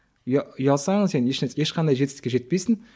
ұялсаң сен ешқандай жетістікке жетпейсің